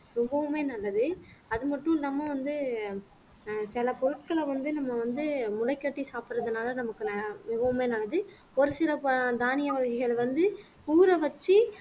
ரொம்பவுமே நல்லது அது மட்டும் இல்லாம வந்து ஆஹ் சில பொருட்களை வந்து நம்ம வந்து முளைகட்டி சாப்பிடறதுனால நமக்கு மிகவுமே நல்லது ஒரு சில தானிய வகைகள் வந்து ஊற வைச்சு